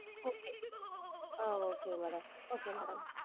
Okay ah okay madam okay madam